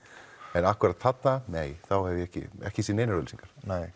en akkúrat þarna nei þá hef ég ekki ekki séð neinar auglýsingar